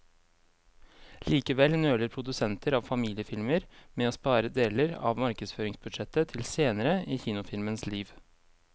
Likevel nøler produsenter av familiefilmer med å spare deler av markedsføringsbudsjettet til senere i kinofilmens liv.